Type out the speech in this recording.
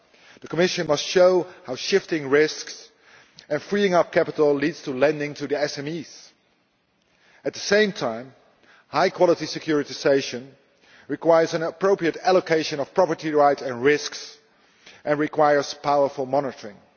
The Commission must show how shifting risks and freeing up capital leads to lending to SMEs. At the same time, high quality securitisation requires an appropriate allocation of property rights and risks and requires powerful monitoring.